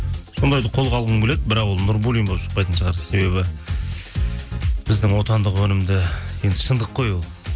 сондайды қолға алғым келеді бірақ ол нурбуллин болып шықпайтын шығар себебі біздің отандық өнімді енді шындық қой ол